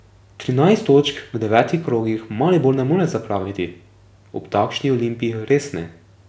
Trinajst točk v devetih krogih Maribor ne more zapraviti, ob takšni Olimpiji res ne ...